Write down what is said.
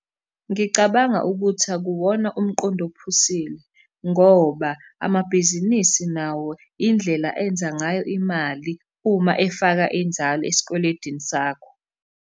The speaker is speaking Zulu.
Ngicabanga ukuthi akuwona umqondo ophusile, ngoba amabhizinisi nawo indlela enza ngayo imali uma efaka inzalo esikweledini sakho.